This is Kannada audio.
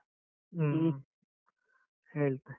ಹ್ಮ್, ಹೇಳ್ತೆ.